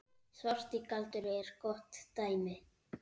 Svarti galdur er gott dæmi.